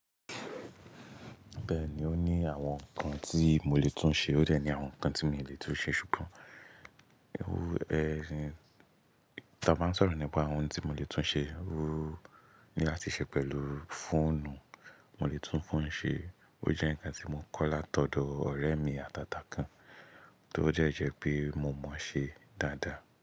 Bẹ́ẹ̀ni, ó ní àwọn nǹkan tí mo lè tún ṣe, ó dẹ̀ ní àwọn nǹkan tí mi ò lè tún ṣe. Ṣùgbọ́n,, tí a bá ń sọ̀rọ̀ nípa àwọn ohun tí mo lè tún ṣe, ní láti ṣe pẹ̀lú fóònù, mo lè tún fóònù ṣe. Ó jẹ́ nǹkan tí mo kọ́ látọ̀dọ̀ ọ̀rẹ́ mi àtàtà kan, tó jẹ́ jẹ́ pé mo mọ̀ ọ́ ṣe dáadáa.